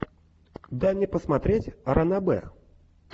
дай мне посмотреть ранобэ